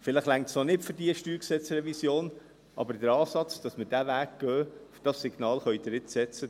Vielleicht reicht es noch nicht für diese StG-Revision, aber der Ansatz, dass wir diesen Weg gehen, dieses Signal können Sie jetzt aussenden.